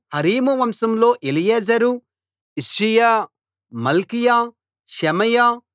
Harim వంశంలో Eliezer Ishijah Malchijah Shemaiah